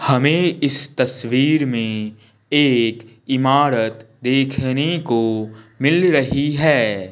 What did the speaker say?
हमें इस तस्वीर में एक इमारत देखने को मिल रही है।